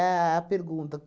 a pergunta.